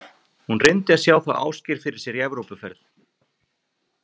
Hún reyndi að sjá þá Ásgeir fyrir sér í Evrópuferð.